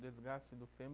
Desgaste do fêmur